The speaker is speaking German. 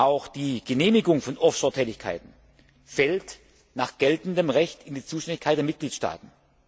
Auch die Genehmigung von Offshore Tätigkeiten fällt nach geltendem Recht in die Zuständigkeit der Mitgliedstaaten.